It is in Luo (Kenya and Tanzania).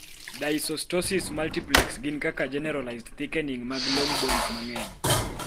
Dysostosis multiplex gin kaka generalized thickening mag long bones mang'eny